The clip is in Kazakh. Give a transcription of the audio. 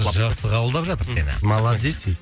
жақсы қабылдап жатыр сені молодец ей